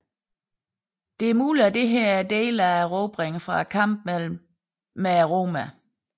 Det er muligt at dette er dele af erobringer fra kampene med romerne